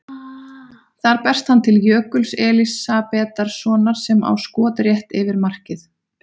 Þar berst hann til Jökuls Elísabetarsonar sem á skot rétt yfir markið.